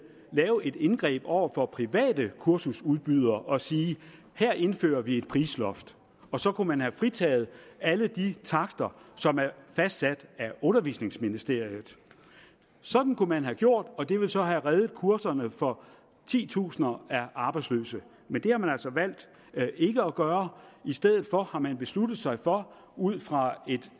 lave et indgreb over for private kursusudbydere og sige her indfører vi et prisloft og så kunne man have fritaget alle de takster som er fastsat af undervisningsministeriet sådan kunne man have gjort og det ville så have reddet kurserne for titusinder af arbejdsløse men det har man altså valgt ikke at gøre i stedet for har man besluttet sig for ud fra et